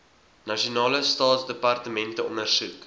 nasionale staatsdepartemente ondersoek